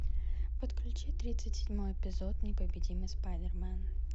подключи тридцать седьмой эпизод непобедимый спайдермен